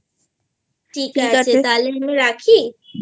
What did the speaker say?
ঠিক আছে তাহলে রাখি